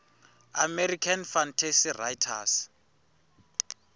american fantasy writers